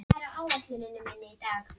Með hverjum degi skýrist hugsun hennar.